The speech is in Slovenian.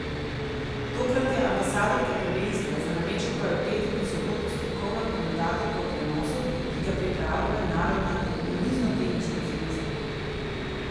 Tokrat je ambasadorka prvenstva, za nameček pa je v petek in soboto strokovna komentatorka v prenosu, ki ga pripravlja Mednarodna namiznoteniška zveza!